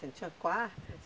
Tinha quarto?